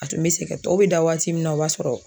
A tun bɛ sɛgɛn tɔw bɛ da waati min na o b'a sɔrɔ